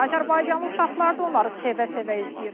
Azərbaycanlı uşaqlar da onları sevə-sevə izləyir.